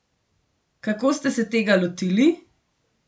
Kako ste se tega lotili?